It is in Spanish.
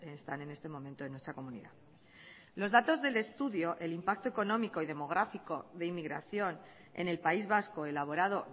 están en este momento en nuestra comunidad los datos del estudio el impacto económico y demográfico de inmigración en el país vasco elaborado